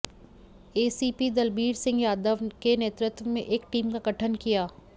ACP Dalbir Singh Yadav के नेतृत्व में एक टीम का गठन किया